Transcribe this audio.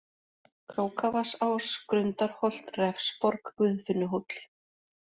Krókavatnsás, Grundarholt, Refsborg, Guðfinnuhóll